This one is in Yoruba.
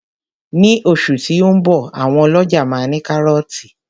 Ní oṣù tí ó ń bọ̀ àwọn ọlọ́ja máa ní kárọ́tì